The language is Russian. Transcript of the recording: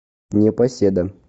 непоседа